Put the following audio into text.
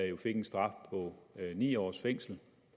jo fik en straf på ni års fængsel